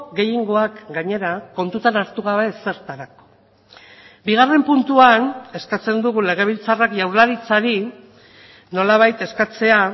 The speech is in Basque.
gehiengoak gainera kontutan hartu gabe ezertarako bigarren puntuan eskatzen dugu legebiltzarrak jaurlaritzari nolabait eskatzea